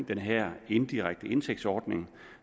den her indirekte indsigtsordning